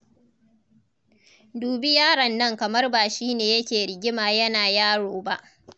Dubi yaron nan kamar ba shi ne yake rigima yana yaro ba.